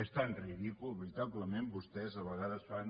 és tan ridícul veritablement vostès a vegades fan